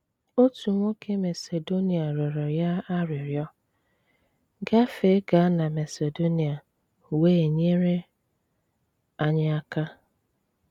Otù nwokè Masedonia rịọrọ̀ ya àrị́rịọ̀: “Gafeèga na Masedonia wéé nyere anyị aka.